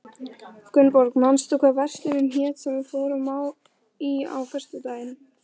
Gunnborg, manstu hvað verslunin hét sem við fórum í á föstudaginn?